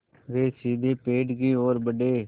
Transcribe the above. वे सीधे पेड़ की ओर बढ़े